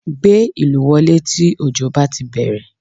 Gbé ìlù wọlé tí òjò bá ti bẹ̀rẹ̀